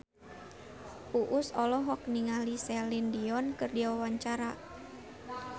Uus olohok ningali Celine Dion keur diwawancara